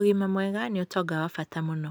ũgima mwega ni ũtonga wa bata mũno